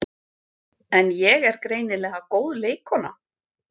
En ég er greinilega góð leikkona